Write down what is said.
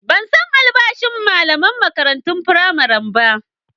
Ban san albashin malaman makarantun firamare ba.